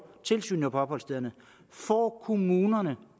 tilsyn på opholdsstederne får kommunerne